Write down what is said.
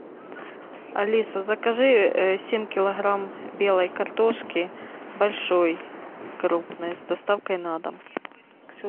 алиса закажи семь килограмм белой картошки большой крупной с доставкой на дом